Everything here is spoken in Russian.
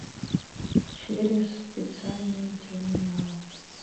через специальный терминал